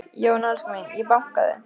Já en elskan mín. ég bankaði!